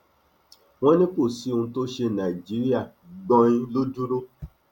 wọn ní kò sí ohun tó ṣe nàìjíríà gbọnin ló dúró